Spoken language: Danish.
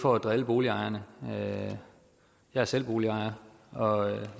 for at drille boligejerne jeg er selv boligejer og jeg